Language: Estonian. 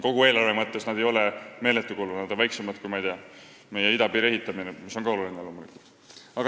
Kogu eelarve mõttes ei ole see meeletu kulu, sinna kulub vähem kui meie idapiiri ehitamisele, mis on ka loomulikult oluline.